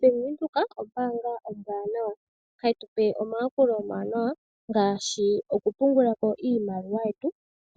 Bank Windhoek ombaanga ombwaanawa. Hayi tu pe omayakulo omawanawa ngaashi okupungula ko iimaliwa yetu,